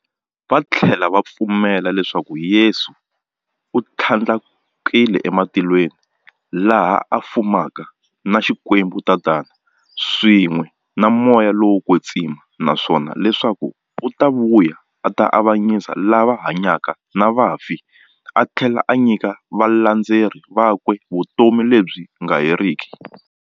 Vathlela va pfumela leswaku Yesu u thlandlukele e matilweni, laha a fumaka na Xikwembu-Tatana, swin'we na Moya lowo kwetsima, naswona leswaku u ta vuya a ta avanyisa lava hanyaka na vafi athlela a nyika valandzeri vakwe vutomi lebyi nga heriki.